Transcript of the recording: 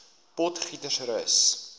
potgietersrus